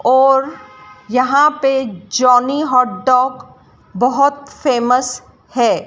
और यहां पे जॉनी हॉट डॉग बहोत फेमस है।